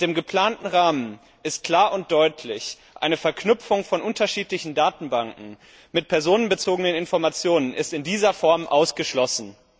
Mit dem geplanten Rahmen ist klar und deutlich eine Verknüpfung von unterschiedlichen Datenbanken mit personenbezogenen Informationen ausgeschlossen.